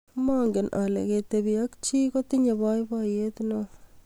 Mangen ale ketibi ak chii kotinye boiboiye ne oo.